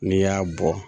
N'i y'a bɔ